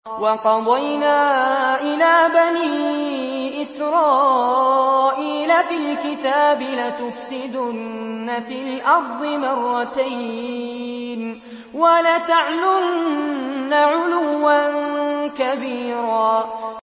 وَقَضَيْنَا إِلَىٰ بَنِي إِسْرَائِيلَ فِي الْكِتَابِ لَتُفْسِدُنَّ فِي الْأَرْضِ مَرَّتَيْنِ وَلَتَعْلُنَّ عُلُوًّا كَبِيرًا